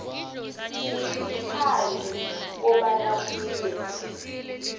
ngaphandle kobana kube